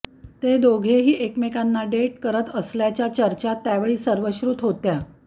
ते दोघंही एकमेकांना डेट करत असल्याच्या चर्चा त्यावेळी सर्वश्रूत होत्या